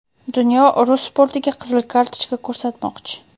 Dunyo rus sportiga qizil kartochka ko‘rsatmoqchi.